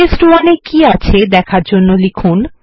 টেস্ট1 এ কি আছে দেখার আমরা লিখুন